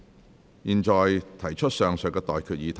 我現在向各位提出上述待決議題。